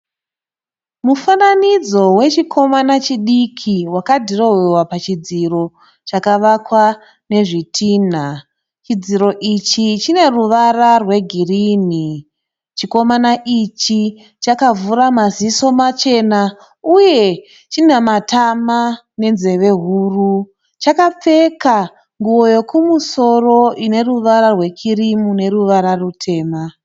Mufananidzo wechikomana chidiki wakadhirohwewa pachidziro chakavakwa nezvitinha. Chidziro ichi chine ruvara rwegirini. Chikomana ichi chakavhura maziso machena uye china matama nenzeve huru. Chakapfeka nguwo yekumusoro ine ruvara rwekirimu neruvara rutema.